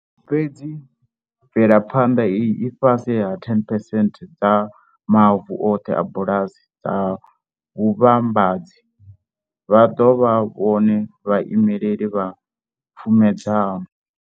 Fhedzi mvelaphanḓa iyi i fhasi ha 10 percent dza mavu oṱhe a bulasi dza vhuvhambadzi. Vha ḓo vha vhone vhaimeli vha pfumedzano.